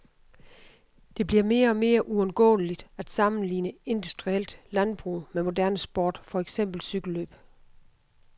Det bliver mere og mere uundgåeligt at sammenligne industrielt landbrug med moderne sport, for eksempel cykellløb.